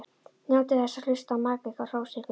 Njótið þess að hlusta á maka ykkar hrósa ykkur.